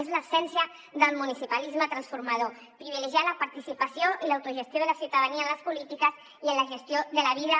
és l’essència del municipalisme transformador privilegiar la participació i l’autogestió de la ciutadania en les polítiques i en la gestió de la vida